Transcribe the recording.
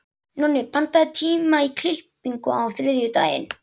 Nonni, pantaðu tíma í klippingu á þriðjudaginn.